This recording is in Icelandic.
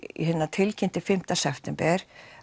tilkynnti fimmta september